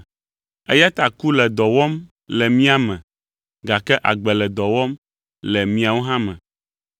Eya ta ku le dɔ wɔm le mía me, gake agbe le dɔ wɔm le miawo me.